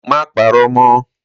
Mà pàró mọ!